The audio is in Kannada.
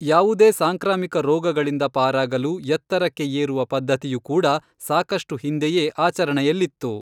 ಯಾವುದೇ ಸಾಂಕ್ರಾಮಿಕ ರೋಗಗಳಿಂದ ಪಾರಾಗಲು ಎತ್ತರಕ್ಕೆ ಏರುವ ಪದ್ಧತಿಯು ಕೂಡ ಸಾಕಷ್ಟು ಹಿಂದೆಯೇ ಆಚರಣೆಯಲ್ಲಿತ್ತು